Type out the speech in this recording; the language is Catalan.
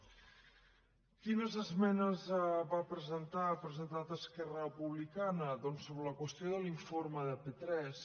quines esmenes va presentar ha presentat esquerra republicana doncs sobre la qüestió de l’informe de p3